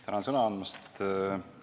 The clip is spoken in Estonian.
Tänan sõna andmast!